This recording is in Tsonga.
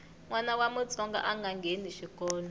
nwana wa mutsonga anga ngheni xikolo